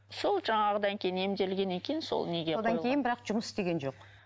сол жаңағыдан кейін емделгеннен кейін сол неге одан кейін бірақ жұмыс істеген жоқ